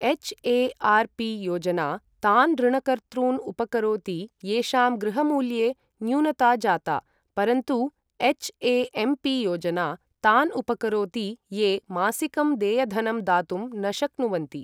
HARP योजना तान् ऋणकर्तॄन् उपकरोति येषां गृहमूल्ये न्यूनता जाता, परन्तु एच्.ए.एम्.पि योजना तान् उपकरोति ये मासिकं देयधनं दातुं न शक्नुवन्ति।